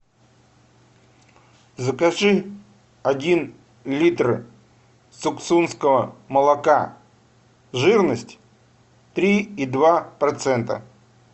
закажи один литр суксунского молока жирность три и два процента